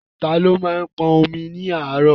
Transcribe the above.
Tani ó máa ń pọn omi ní àárọ̀?